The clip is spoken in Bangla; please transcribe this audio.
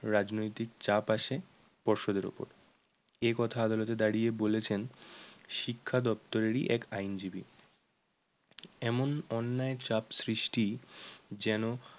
রাজনৈতিক চাপ আসে পর্ষদের ওপর। এ কথা আদালতে দাঁড়িয়ে বলেছেন শিক্ষাদপ্তরেরই এক আইনজীবী এমন অন্যায় চাপ সৃষ্টি যেন